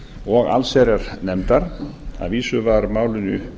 og allsherjarnefndar að vísu var málinu